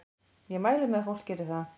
Ég mæli með að fólk geri það.